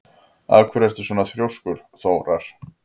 Af hverju ertu svona þrjóskur, Þórar?